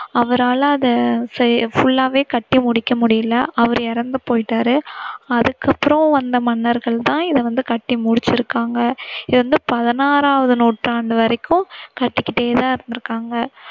அவரால அதை full வே கட்டி முடிக்க முடியல அவர் இறந்துபோயிட்டாரு. அதுக்கப்பறம் வந்த மன்னர்கள் தான் இத வந்து கட்டி முடிச்சிருக்காங்க. இது வந்து பதினாறாம் நூற்றாண்டு வரைக்கும் கட்டிகிட்டே தான் இருந்திருக்காங்க.